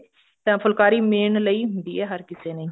ਤਾਂ ਫੁਲਕਾਰੀ main ਲਈ ਹੁੰਦੀ ਹੈ ਹਰ ਕਿਸੇ ਨੇ